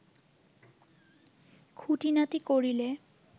খুঁটিনাটি করিলে